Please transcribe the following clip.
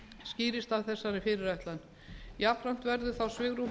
skýrist af þessari fyrirætlan jafnframt verður þá svigrúm